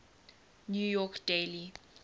new york daily